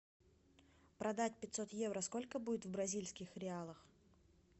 продать пятьсот евро сколько будет в бразильских реалах